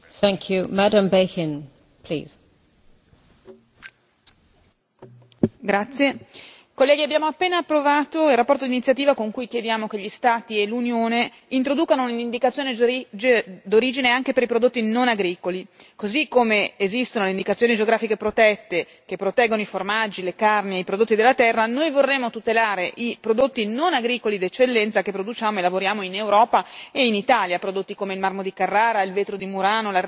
Signora Presidente, onorevoli colleghi, abbiamo appena approvato la relazione di iniziativa con cui chiediamo che gli Stati e l'Unione introducano un'indicazione d'origine anche per i prodotti non agricoli, così come esistono indicazioni geografiche protette che proteggono i formaggi, le carni e i prodotti della terra, noi vorremmo tutelare i prodotti non agricoli d'eccellenza che produciamo e lavoriamo in Europa e in Italia, prodotti come il marmo di Carrara, il vetro di Murano, l'ardesia, la ceramica e molto altro ancora.